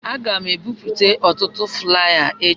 Aga m ebipụta ọtụtụ flaya echi.